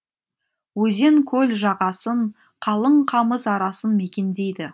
өзен көл жағасын қалың қамыс арасын мекендейді